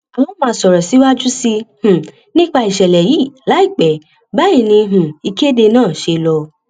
a ó máa sọrọ síwájú sí um i nípa ìṣẹlẹ yìí láìpẹ báyìí ni um ìkéde náà ṣe lọ